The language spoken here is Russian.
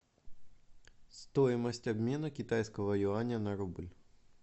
стоимость обмена китайского юаня на рубль